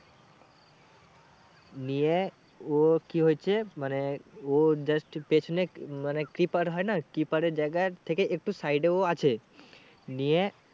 নিয়ে ও কি হয়েছে মানে ও just পেছনে মানে keeper হয় না keeper এর জায়গা থেকে একটু side এ ও আছে নিয়ে